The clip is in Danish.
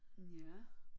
Ja